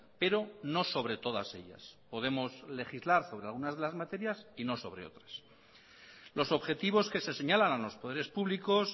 pero no sobre todas ellas podemos legislar sobre algunas de las materias y no sobre otras los objetivos que se señalan a los poderes públicos